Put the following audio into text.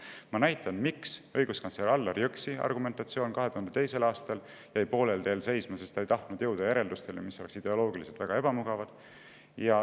Ma olen valmis näitama, miks õiguskantsler Allar Jõksi argumentatsioon 2002. aastal jäi poolel teel seisma: ta ei tahtnud jõuda järeldustele, mis oleksid ideoloogiliselt olnud väga ebamugavad.